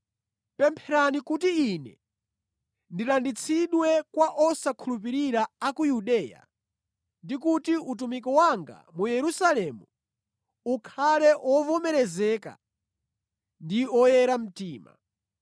Pempherani kuti ine ndilanditsidwe kwa osakhulupirira a ku Yudeya ndi kuti utumiki wanga mu Yerusalemu ukhale ovomerezeka ndi oyera mtima.